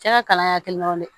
Cɛ ka kalan hakilinaw de